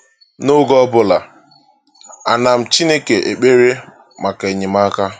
N’oge ọbụla, ana m Chineke ekpere maka enyemaka!